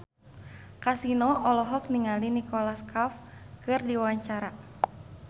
Kasino olohok ningali Nicholas Cafe keur diwawancara